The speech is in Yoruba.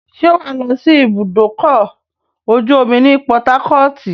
ṣé wàá lọ́ sí ibùdókọ̀-ojú-omi ti Pọtákọ́ọ̀tì?